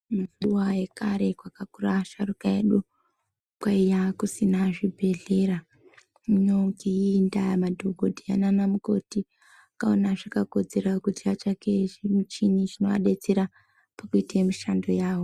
Mazuva yekare pakakura asharukwa edu kwaiya kusina zvibhedhlera. Tinotenda madhkodheya naanamukoti vakaona zvakakodzera kuti vatsvake zvimichini zvinovadetsera pakuite mishando yavo.